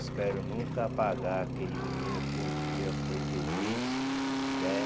Espero nunca apagar aquele menino que um dia foi feliz, né?